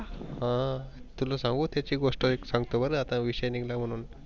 ह तुला सांगू त्याची गोष्ट एक सांगतो बर आता विषय निघाला म्हणून.